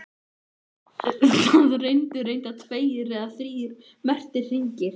Það eru reyndar tveir eða þrír merktir hringir.